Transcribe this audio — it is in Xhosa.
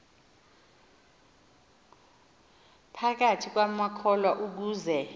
phakathi kwamakholwa ukuze